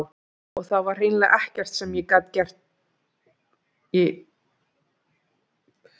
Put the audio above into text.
Og það var hreinlega ekkert sem ég gat fyrir hann gert.